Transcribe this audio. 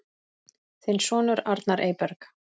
Þinn sonur, Arnar Eyberg.